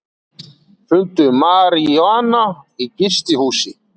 Fundu maríjúana í gistihúsi